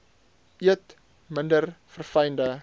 eet minder verfynde